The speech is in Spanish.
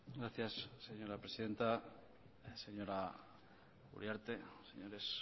gracias señora presidenta señora uriarte señores